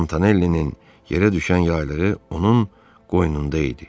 Montanellinin yerə düşən yaylığı onun qoynunda idi.